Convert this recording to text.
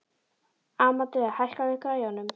Amadea, hækkaðu í græjunum.